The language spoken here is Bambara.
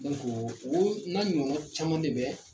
o n'a ɲɔgɔn caman ne bɛ